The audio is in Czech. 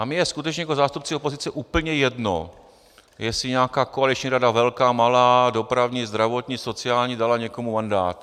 A mně je skutečně jako zástupci opozice úplně jedno, jestli nějaká koaliční rada - velká, malá, dopravní, zdravotní, sociální - dala někomu mandát.